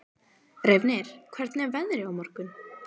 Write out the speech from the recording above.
Reifnir, hvernig er veðrið á morgun?